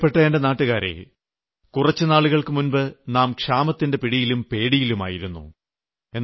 പ്രിയപ്പെട്ട എന്റെ നാട്ടുകാരേ കുറച്ചു നാളുകൾക്ക് മുമ്പ് നാം ക്ഷാമത്തിന്റെ പിടിയിലും പേടിയിലുമായിരുന്നു